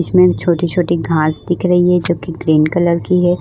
इसमें छोटी-छोटी घास दिख रही है जो कि ग्रीन कलर की है।